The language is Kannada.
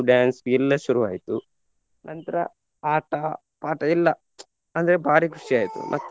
Dance ಎಲ್ಲ ಶುರು ಆಯ್ತು ನಂತ್ರ ಆಟ ಪಾಠ ಎಲ್ಲ ಅಂದ್ರೆ ಬಾರಿ ಖುಷಿಯಾಯಿತು .